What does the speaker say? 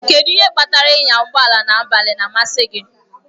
Kedụ ihe kpatara ịnya ụgbọ ala n'abalị na-amasị gị?